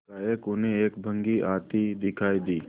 एकाएक उन्हें एक बग्घी आती दिखायी दी